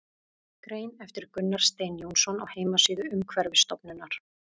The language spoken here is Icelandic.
Grein eftir Gunnar Stein Jónsson á heimasíðu Umhverfisstofnunar.